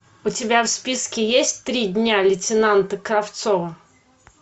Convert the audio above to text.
у тебя в списке есть три дня лейтенанта кравцова